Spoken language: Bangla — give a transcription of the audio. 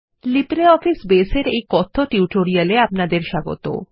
লিব্রিঅফিস বেজ এর এই কথ্য টিউটোরিয়ালে আপনাদের স্বাগত